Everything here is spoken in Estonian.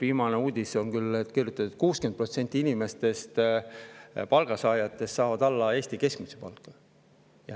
Viimases uudises oli küll kirjutatud, et 60% palgasaajatest saab palka alla Eesti keskmise.